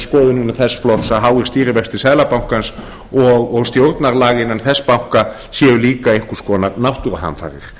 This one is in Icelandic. skoðun innan þess flokks að háir stýrivextir seðlabankans og stjórnarlag innan þess banka séu líka einhvers konar náttúruhamfarir